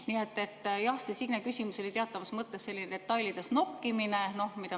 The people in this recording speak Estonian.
Nii et jah, see Signe küsimus oli teatavas mõttes selline detailides nokkimine.